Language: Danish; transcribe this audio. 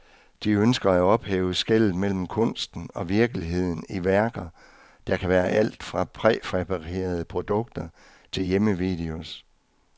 De ønsker at ophæve skellet mellem kunsten og virkeligheden i værker, der kan være alt fra præfabrikerede produkter til hjemmevideos.